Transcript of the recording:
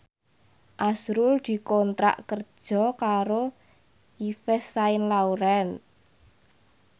azrul dikontrak kerja karo Yves Saint Laurent